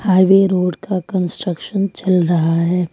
Highway road का construction चल रहा है।